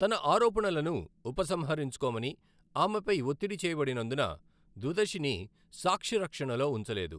తన ఆరోపణలను ఉపసంహరించుకోమని ఆమెపై ఒత్తిడి చేయబడినందున, దుదషిని సాక్షి రక్షణలో ఉంచలేదు.